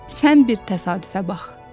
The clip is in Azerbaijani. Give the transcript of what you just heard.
Sən bir təsadüfə bax!